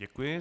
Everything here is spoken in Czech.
Děkuji.